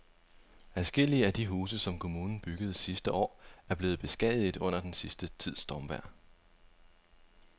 Adskillige af de huse, som kommunen byggede sidste år, er blevet beskadiget under den sidste tids stormvejr.